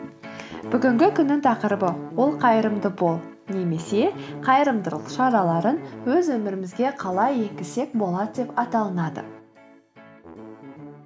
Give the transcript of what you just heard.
бүгінгі күннің тақырыбы ол қайырымды бол немесе қайырымдылық шараларын өз өмірімізге қалай еңгізсек болады деп аталынады